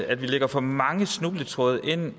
at vi lægger for mange snubletråde